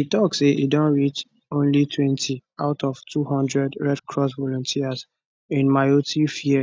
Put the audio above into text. e tok say e don reach onlytwentyout of 200 red cross volunteers in mayotte fear